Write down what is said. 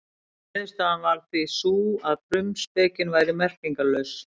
Niðurstaðan varð því sú að frumspekin væri merkingarlaus.